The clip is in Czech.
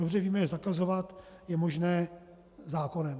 Dobře víme, že zakazovat je možné zákonem.